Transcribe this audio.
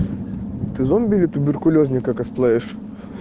ты зомби или туберкулёзника косплеишь